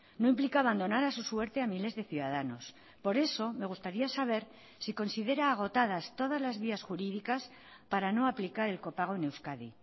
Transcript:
no implica abandonar a su suerte a miles de ciudadanos por eso me gustaría saber si considera agotadas todas las vías jurídicas para no aplicar el copago en euskadi